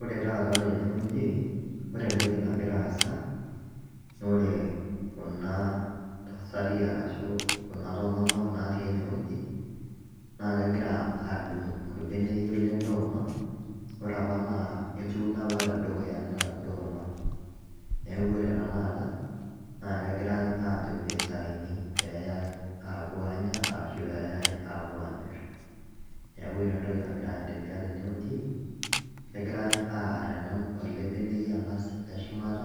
Ore taata tenewueji ore entoki nagira aasa na ore kuna tasati ashu kunatomok natii enewueji nakegira adung orbeneyio lentuma ore apa na etuuno apa tedukuya ntuma, neaku ore tanakata nakegirai ajo pitauni peyae apuo anya ashu peyai apuo amir, neaku ore entoki nagira aendelea tenewueji negirai aar elebeneyio angas leshumata